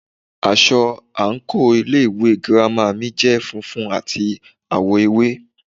Aṣọ àǹkóò ilé ìwé girama mi jẹ́ funfun àti àwọ̀ ewé.